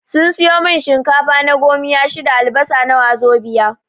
Sun siyo mun shinkafa na gomiya shida, albasa na wazobiya